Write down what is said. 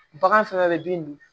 Bagan fɛnɛ bɛ bin dun